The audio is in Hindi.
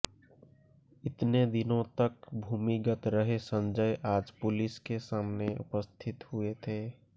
इतने दिनों तक भूमिगत रहे संजय आज पुलिस के सामने उपस्थित हुए थे